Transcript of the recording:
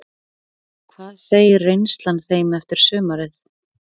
Hvað segir reynslan þeim eftir sumarið?